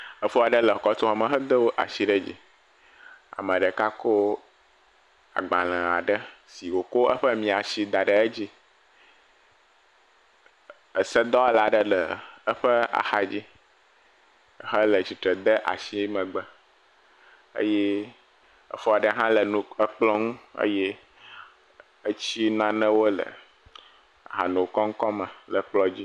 Efo aɖe le kɔtuxɔme hedo ashi ɖe dzi. ame ɖeka kɔ agbalẽ aɖe si wòko eƒe miãshi da ɖe edzi. Esedɔwɔla aɖe le eƒe axadzi hele tsitre de ashi megbe. Eye exɔ ɖe hã le nu ekplɔ̃ ŋu eye etsi nanewo le hanokɔŋkɔ me le kplɔ̃ ŋu.